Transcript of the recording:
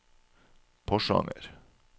Porsanger